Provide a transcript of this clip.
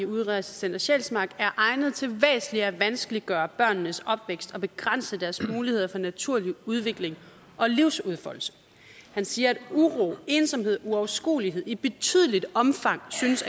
udrejsecenter sjælsmark er egnet til væsentligt at vanskeliggøre børnenes opvækst og begrænse deres muligheder for naturlig udvikling og livsudfoldelse han siger at uro ensomhed og uoverskuelighed i betydeligt omfang synes